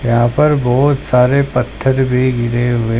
यहां पर बहोत सारे पत्थर भी गिरे हुए--